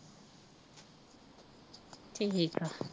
ਠੀਕ ਆ